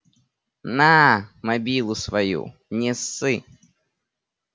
на мобилу свою не ссы